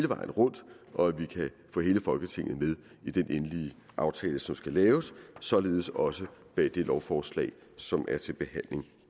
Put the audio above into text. vejen rundt og at vi kan få hele folketinget med i den endelige aftale som skal laves således også bag det lovforslag som er til behandling